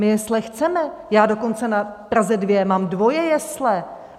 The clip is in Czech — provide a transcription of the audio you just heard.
My jesle chceme, já dokonce na Praze 2 mám dvoje jesle!